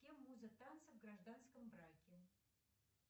кем муза танца в гражданском браке